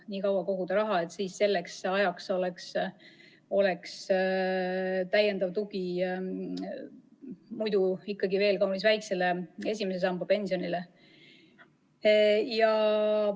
Nii kaua koguda raha, et selleks ajaks oleks tagatud täiendav tugi ikkagi veel kaunis väikesele I samba pensionile.